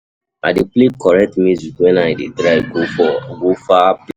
I dey play correct music wen I dey drive go far place.